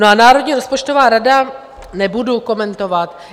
No a Národní rozpočtová rada - nebudu komentovat.